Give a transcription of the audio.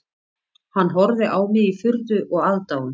Hann horfði á mig í furðu og aðdáun